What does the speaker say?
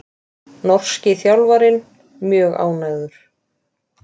Norski þjálfarinn mjög ánægður